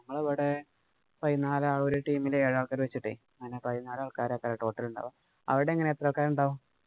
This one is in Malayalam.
ഞങ്ങടവിടെ പയിനാല് ഒരു team ഇലെ ഏഴ് ആള്‍ക്കാര് വച്ചിട്ടെ പിന്നെ പതിനാല് ആള്‍ക്കാരൊക്കെ total ഉണ്ടാകും. അവിടെ എങ്ങനാ എത്ര ആള്‍ക്കാര് ഉണ്ടാകും?